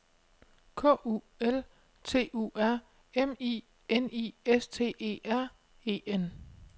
K U L T U R M I N I S T E R E N